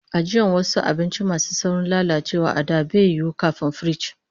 Ajiyan wasu abinci masu saurin lalacewa a da baya yiwo, kafin firiji